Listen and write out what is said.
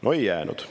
No ei jäänud.